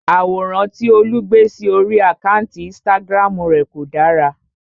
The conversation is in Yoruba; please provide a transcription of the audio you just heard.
Àwòrán tí Olú gbé sí orí àkántì Instagram rè kò dára.